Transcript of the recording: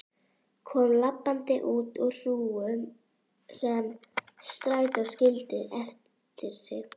Kom labbandi út úr hrúgu sem strætó skildi eftir sig.